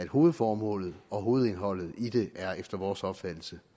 hovedformålet og hovedindholdet i det er efter vores opfattelse